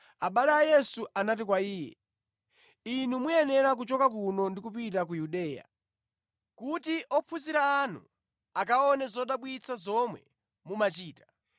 abale a Yesu anati kwa Iye, “Inu muyenera kuchoka kuno ndi kupita ku Yudeya, kuti ophunzira anu akaone zodabwitsa zomwe mumachita.